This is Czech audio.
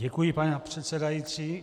Děkuji, paní předsedající.